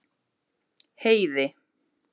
Heiði